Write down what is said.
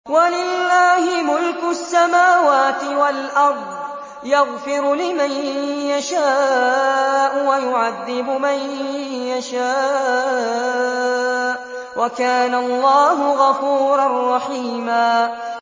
وَلِلَّهِ مُلْكُ السَّمَاوَاتِ وَالْأَرْضِ ۚ يَغْفِرُ لِمَن يَشَاءُ وَيُعَذِّبُ مَن يَشَاءُ ۚ وَكَانَ اللَّهُ غَفُورًا رَّحِيمًا